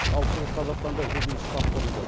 ал шығыс қазақстанда жедел штаб құрылды